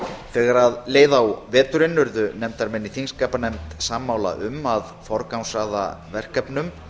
efnum þegar leið á veturinn urðu nefndarmenn sammála um að forgangsraða verkefnum